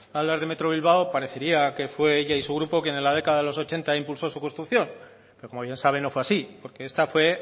hablar de metro bilbao parecería que fue ella y su grupo quien en la década de los ochenta impulsó su construcción pero como bien saben no fue asím porque esta fue